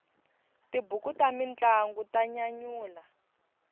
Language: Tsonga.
tibuku ta mintlangu ta nyanyula